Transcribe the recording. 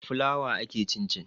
Da fulawa ake cin cin